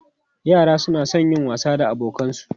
Yara suna son yin wasa da abokansu.